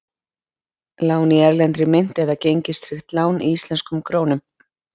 Lán í erlendri mynt eða gengistryggt lán í íslenskum krónum?